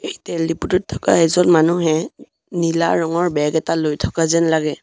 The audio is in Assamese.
তেল ডিপুটোত থকা এজন মানুহে নীলা ৰঙৰ বেগ এটা লৈ থকা যেন লাগে।